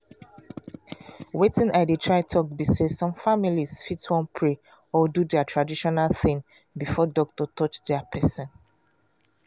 weytin i dey try talk be say some families fit wan pray or do their traditional thing before doctor touch their person.